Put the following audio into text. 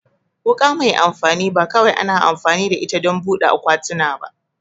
Wuka mai amfani ba kawai ana amfani da ita don buɗe akwatuna ba